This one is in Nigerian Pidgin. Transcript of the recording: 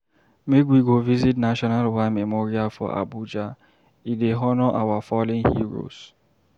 Make we go visit National War Memorial for Abuja, e dey honour our fallen heroes.